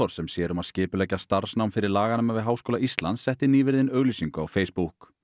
sem sér um að skipuleggja starfsnám fyrir laganema við Háskóla Íslands setti nýverið inn auglýsingu á Facebook